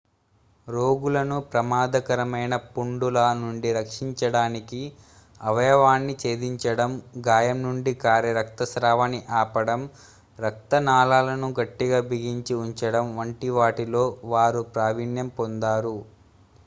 రోగులను ప్రమాదకరమైన పుండుల నుండి రక్షించడానికి అవయవాన్నిఛేదించడం గాయం నుండి కారే రక్తస్రావాన్ని ఆపడం రక్తనాళాలను గట్టిగ బిగించి ఉంచడం వంటివాటిలో వారు ప్రావీణ్యం పొందారు